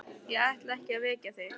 Ég ætlaði ekki að vekja þig.